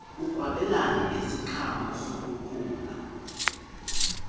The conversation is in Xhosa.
ukwabelana ngeziqhamo zokukhula